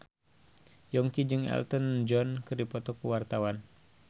Yongki jeung Elton John keur dipoto ku wartawan